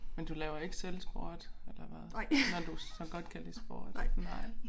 Men du laver ikke selv sport eller hvad når du så godt kan lide sport nej